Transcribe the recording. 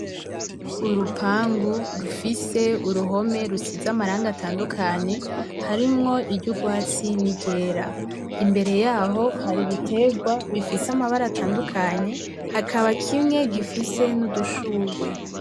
Urupangu rufise uruhome rusize amarangi atandukanye, harimwo iry'urwatsi n'iryera. Imbere yaho hari ibiterwa bifise amabara atandukanye hakaba kimwe gifise n'udushurwe.